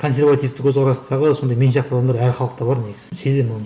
консервативті көзқарастағы сондай мен сияқты адамдар әр халықта бар негізі сеземін оны